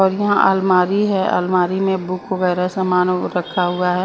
और अलमारी है अलमारी में बुक वगैरह सामान रखा हुआ है।